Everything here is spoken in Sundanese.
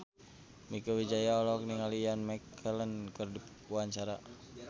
Mieke Wijaya olohok ningali Ian McKellen keur diwawancara